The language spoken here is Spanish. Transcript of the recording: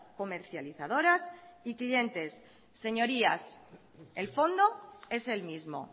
comercializadoras y clientes señorías el fondo es el mismo